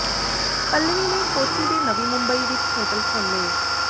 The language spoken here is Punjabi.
ਪੱਲਵੀ ਨੇ ਕੋਚੀ ਤੇ ਨਵੀਂ ਮੁੰਬਈ ਵਿਚ ਹੋਟਲ ਖੋਲ੍ਹੇ